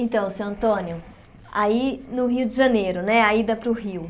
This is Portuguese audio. Então, senhor Antônio, aí no Rio de Janeiro, né, a ida para o Rio.